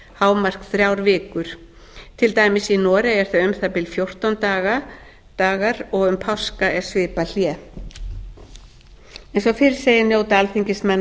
hámark þrjár vikur til dæmis í noregi er það um það bil fjórtán dagar og um páska er svipað hlé eins og fyrr segir njóta alþingismenn á